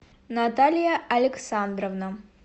наталья александровна